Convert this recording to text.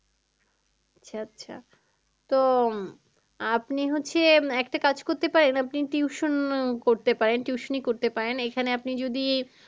আচ্ছা আচ্ছা তো আপনি হচ্ছে একটা কাজ করতে পারেন আপনি tuition আহ করতে পারেন tuition ই করতে পারেন এখানে আপনি যদি